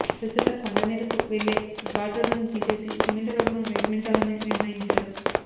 ప్రస్తుత కొండమీదకు వెళ్లే ఘాట్ రోడ్డును తీసేసి సిమెంటు రోడ్డును నిర్మించాలని నిర్ణయించారు